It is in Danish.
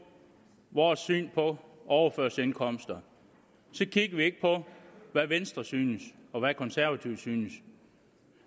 vores syn på overførselsindkomster så kigger vi ikke på hvad venstres synes og hvad konservative synes